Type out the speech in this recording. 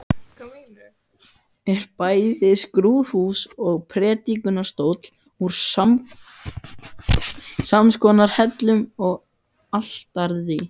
Er bæði skrúðhús og prédikunarstóll úr samskonar hellum og altarið.